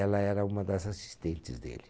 Ela era uma das assistentes dele.